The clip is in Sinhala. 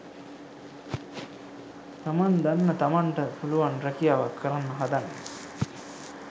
තමන් දන්න තමන්ට පුළුවන් රැකියාවක් කරන්න හදන්නේ.